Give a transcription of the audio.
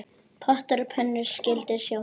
Pottar og pönnur skyldu sótt.